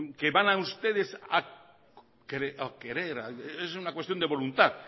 que van a ustedes a querer es una cuestión de voluntad